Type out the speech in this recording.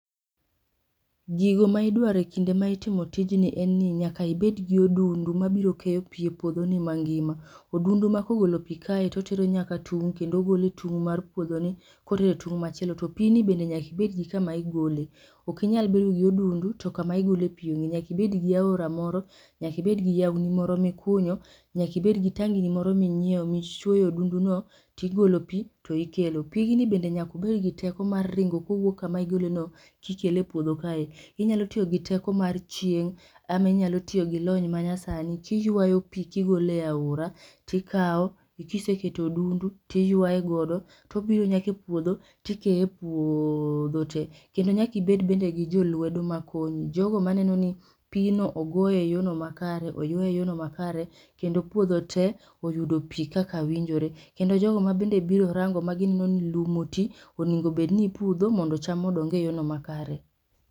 Gigo ma idwaro e kinde ma itimo tijni en ni nyaka ibed gi odundu mabiro keyo pi e puodho ni mangima. odundu ma kogolo pi kae totero nyaka tung' kendo ogole e tung' mar puodho ni kotere e tung' machielo to pi ni bende nyak ibed gi kama igole, ok inyal bedo gi odundu to kama igole pi onge. Nyak ibed gi aora moro nyak ibed gi yaw ni moro mikunyo, nyak ibed gi tangi ni moro minyiew michuoyo e odundu no, tigolo pi to ikelo. Pigni bende nyaka obed gi teko mar ringo kowuok kama igole no kikele e puodho kae, inyalo tiyo gi teko mar chieng' ama inyalo tiyo gi lony ma nyasani kiywayo pi kigole aora tikaw, kiseketo odundu tiywaye godo tobiro nyaka e puodho tikeye e puoooodho te kendo nyaka ibed bende gi jolwedo makonyi, jogo maneno ni pi no ogoye e yono makare, oywaye e yono makare, kendo puodho te oyudo pi kaka winjore. Kendo jogo ma bende biro rango ma gineno ni lum oti oningo bedni ipudho mondo cham odong e yono makare